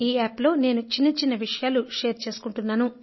ఈ యాప్ లో నేను చిన్నచిన్న విషయాలు షేర్ చేసుకుంటుంటాను